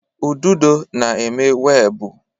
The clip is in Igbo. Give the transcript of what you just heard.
Ududo na-eme webụ.